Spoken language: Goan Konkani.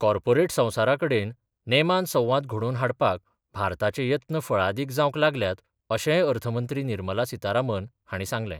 कॉर्पोरेट संवसारा कडेन नेमान संवाद घडोवन हाडपाक भारताचे येत्न फळादीक जावंक लागल्यात अशेंय अर्थ मंत्री निर्मला सीतारामन हांणी सांगलें.